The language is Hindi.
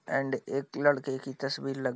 एंड एक लड़के की तस्वीर ल--